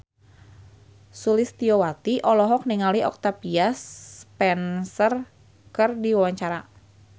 Sulistyowati olohok ningali Octavia Spencer keur diwawancara